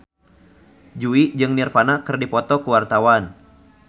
Jui jeung Nirvana keur dipoto ku wartawan